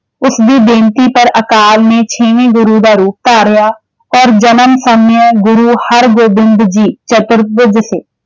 ਉਸਦੀ ਬੇਨਤੀ ਕਰ ਅਕਾਲ ਨੇ ਛੇਵੇਂ ਗੁਰੂ ਦਾ ਰੂਪ ਧਾਰਿਆ, ਪਰ ਜਨਮ ਗੁਰੂ ਹਰਗੋਬਿੰਦ ਜੀ ਦਿਸੇ।